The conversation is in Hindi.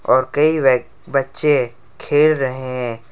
और कई वय बच्चे खेल रहे हैं।